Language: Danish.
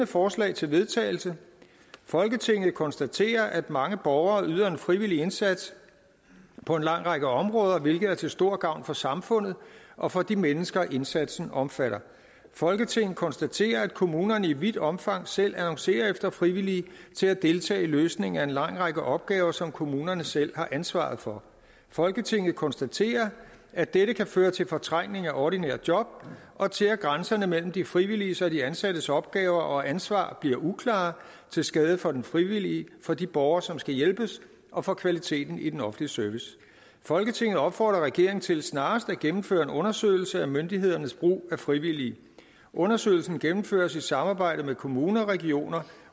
forslag til vedtagelse folketinget konstaterer at mange borgere yder en frivillig indsats på en lang række områder hvilket er til stor gavn for samfundet og for de mennesker indsatsen omfatter folketinget konstaterer at kommunerne i vidt omfang selv annoncerer efter frivillige til at deltage i løsningen af en lang række opgaver som kommunerne selv har ansvaret for folketinget konstaterer at dette kan føre til fortrængning af ordinære job og til at grænserne mellem de frivilliges og de ansattes opgaver og ansvar bliver uklare til skade for den frivillige for de borgere som skal hjælpes og for kvaliteten i den offentlige service folketinget opfordrer regeringen til snarest at gennemføre en undersøgelse af myndighedernes brug af frivillige undersøgelsen gennemføres i samarbejde med kommuner regioner